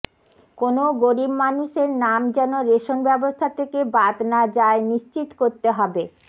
কোনও গরিব মানুষের নাম যেন রেশন ব্যবস্থা থেকে বাদ না যায় নিশ্চিত করতে হবে